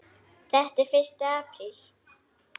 Þetta er fyrsti apríl.